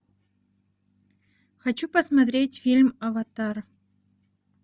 хочу посмотреть фильм аватар